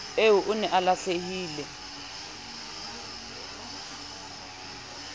eo o ne a lahlile